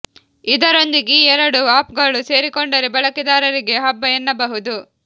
ಇದರೊಂದಿಗೆ ಈ ಎರಡು ಆಪ್ ಗಳು ಸೇರಿಕೊಂಡರೆ ಬಳಕೆದಾರರಿಗೆ ಹಬ್ಬ ಎನ್ನಬಹುದು